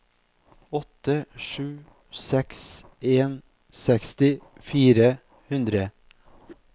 åtte sju seks en seksti fire hundre